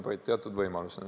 See oleks teatud võimalus.